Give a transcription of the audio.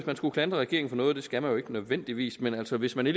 man skulle klandre regeringen for noget det skal man jo ikke nødvendigvis men altså hvis man